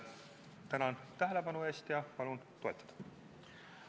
Tänan tähelepanu eest ja palun toetada!